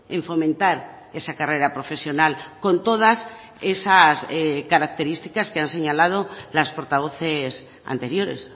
en fomentar esa carrera profesional con todas esas características que han señalado las portavoces anteriores